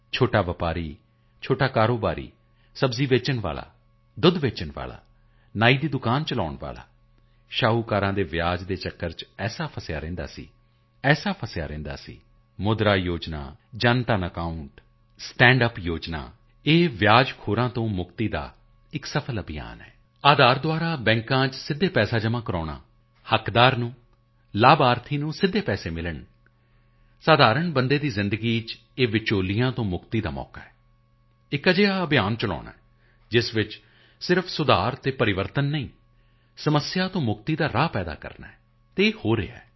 ਛੋਟਾ ਵਪਾਰੀ ਛੋਟਾ ਕਾਰੋਬਾਰੀ ਸਬਜ਼ੀ ਵੇਚਣ ਵਾਲਾ ਦੁੱਧ ਵੇਚਣ ਵਾਲਾ ਨਾਈ ਦੀ ਦੁਕਾਨ ਚਲਾਉਣ ਵਾਲਾ ਸ਼ਾਹੂਕਾਰਾਂ ਤੋਂ ਵਿਆਜ਼ ਦੇ ਚੱਕਰ ਵਿੱਚ ਅਜਿਹਾ ਫਸਿਆ ਰਹਿੰਦਾ ਸੀਅਜਿਹਾ ਫਸਿਆ ਰਹਿੰਦਾ ਸੀ ਮੁਦਰਾ ਯੋਜਨਾ ਸਟੈਂਡ ਯੂਪੀ ਯੋਜਨਾ ਜਨਧਨ ਅਕਾਉਂਟ ਇਹ ਵਿਆਜ਼ਖੋਰਾਂ ਤੋਂ ਮੁਕਤੀ ਦਾ ਇੱਕ ਸਫਲ ਅਭਿਆਨ ਹੈ ਆਧਾਰ ਰਾਹੀਂ ਬੈਂਕਾਂ ਵਿੱਚ ਸਿੱਧੇ ਪੈਸੇ ਜਮਾਂ ਕਰਾਉਣਾ ਹੱਕਦਾਰ ਨੂੰ ਲਾਭਪਾਤਰੀ ਨੂੰ ਸਿੱਧੇ ਪੈਸੇ ਮਿਲਣ ਆਮ ਨਾਗਰਿਕ ਦੀ ਜ਼ਿੰਦਗੀ ਵਿੱਚ ਇਨ੍ਹਾਂ ਵਿਚੋਲਿਆਂ ਤੋਂ ਮੁਕਤੀ ਦਾ ਅਵਸਰ ਹੈ ਇੱਕ ਅਜਿਹਾ ਅਭਿਆਨ ਚਲਾਉਣਾ ਹੈ ਜਿਸ ਵਿੱਚ ਸਿਰਫ ਸੁਧਾਰ ਅਤੇ ਤਬਦੀਲੀ ਨਹੀਂ ਸਮੱਸਿਆ ਤੋਂ ਮੁਕਤੀ ਤੱਕ ਦਾ ਮਾਰਗ ਪੱਕਾ ਕਰਨਾ ਹੈ ਅਤੇ ਹੋ ਰਿਹਾ ਹੈ